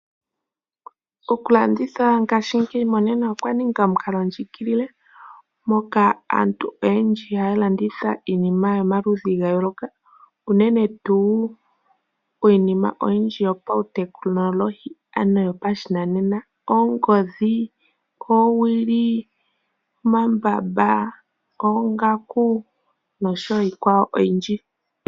Okulanditha ngashingeyi monena okwa ninga omukalondjigilile, moka aantu oyendji haa landitha iinima yomaludhi ga yooloka, unene tuu iinima oyindji yopautekinolohi, ano yopashinanena, oongodhi, oowili, omambamba, oongaku, nosho wo iikwawo oyindji.